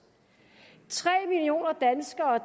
tre millioner danskere